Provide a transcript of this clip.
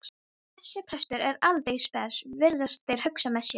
Þessi prestur er aldeilis spes, virðast þeir hugsa með sér.